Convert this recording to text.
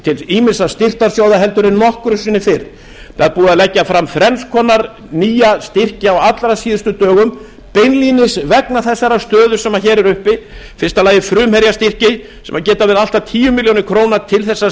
til ýmissa styrktarsjóða heldur en nokkru sinni fyrr það er búið að leggja fram þrenns konar nýja styrki á allra síðustu dögum beinlínis vegna þessarar stöðu sem hér er uppi í fyrsta lagi frumherjastyrki sem geta verið allt að tíu milljónir króna til